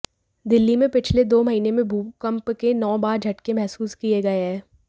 दिल्ली में पिछले दो महीने में भूकंप के नौ बार झटके महसूस किए गए हैं